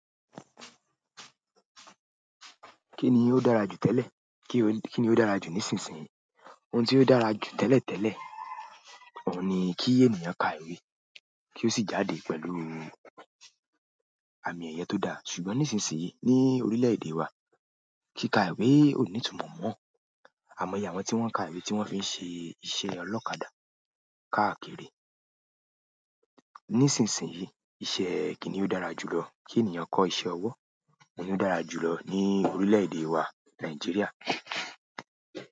Kí ni ó dára jù tẹ́lẹ̀, kí ni ó dára jù nísinsìnyí? Ohun tí ó dára jù tẹ́lẹ̀ tẹ́lẹ̀ òun ni kí ènìyàn ka ìwé, kí ó sì jáde pẹ̀lú àmì ẹyẹ tó dá. Ṣùgbọ́n nísinsìnyí ní orílẹ̀-èdè wa, kí ka ìwé ò ní túmọ̀ mọ́ àimọye wọ́n tí wọ́n ń ka ìwé tí wọ́n fi ń ṣe iṣẹ́ ọlọ́kadà káàkiri. Nísinsìnyí iṣẹ́ kini ó dára jù lọ? Kí ènìyàn kọ́ iṣẹ́ ọwọ́. Ló dára jù lọ ní orílẹ̀-èdè wa Nàìjíríà.